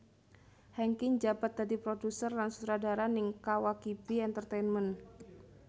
Hengky njabat dadi produser lan sutradara ning Kawakibi Entertainment